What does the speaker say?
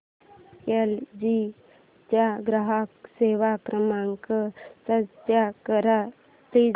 L G चा ग्राहक सेवा क्रमांक सर्च कर प्लीज